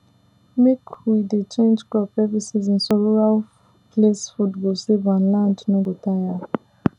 mek we dey change crop every season so rural place food go stable and land no go tire